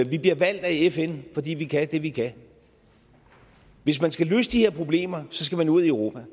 vi bliver valgt af fn fordi vi kan det vi kan hvis man skal løse de her problemer så skal man ud i europa i